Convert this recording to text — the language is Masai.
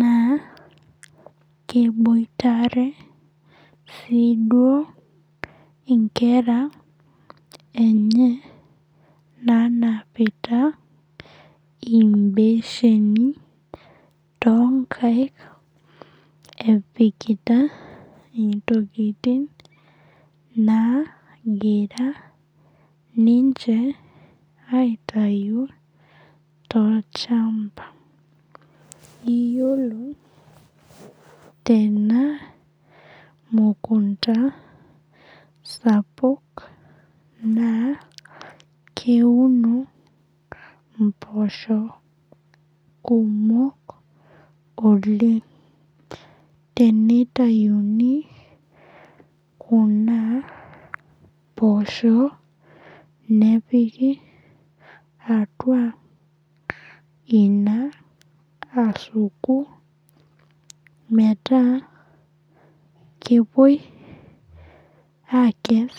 naa keiboitare sii duo inkera enye naanapita imbesheni toonkaik epikita intokitin naagira ninche aitayu tolchamba. Iyiolo tena mukunta sapuk, naa keuno impoosho kumok oleng'. Teneitayuni kuna poosho nepiki atua ina asuku metaa kepuoi aakes,